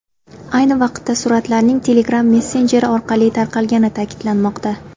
Ayni vaqtda suratlarning Telegram messenjeri orqali tarqalgani ta’kidlanmoqda.